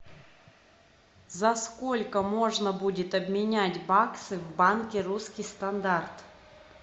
за сколько можно будет обменять баксы в банке русский стандарт